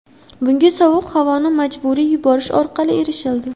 Bunga sovuq havoni majburiy yuborish orqali erishildi.